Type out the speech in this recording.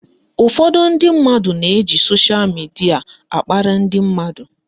Ụfọdụ ndị mmadụ na-eji soshal midia akparị ndị mmadụ